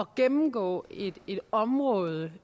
gennemgå et område